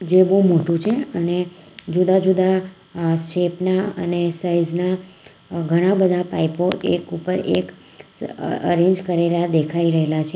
એ બહુ મોટું છે અને જુદા જુદા અહ શેપ ના અને સાઈઝ ના ઘણા બધા પાઇપો એક ઉપર એક અરેંજ કરેલા દેખાઈ રહેલા છે.